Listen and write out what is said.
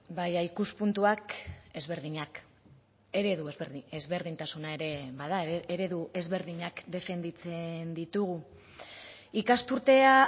baina ikuspuntuak ezberdinak eredu ezberdinak defendatzen ditugu ikasturtea